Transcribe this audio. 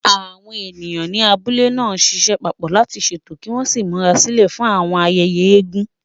Àwọn ènìyàn ní abúlé náà ń ṣiṣẹ́ papọ̀ láti ṣètò kí wọ́n sì múra sílẹ̀ fún àwọn ayẹyẹ eégún.